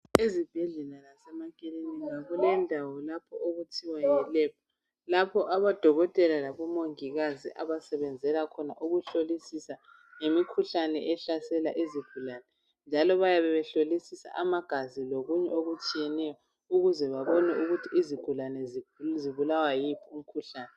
Ezibhedlela lasemakilinika .Kulendawo lapho okuthiwa yi lab .Lapho odokotela labomongikazi abasebenzela khona ukuhlolisisa ngemikhuhlane ehlasela izigulane . Njalo bayabe behlolisisa amagazi lokunye okutshiyeneyo ukuze babone ukuthi izigulane zibulawa yiwuphi umkhuhlane .